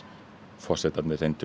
forsetarnir reyndu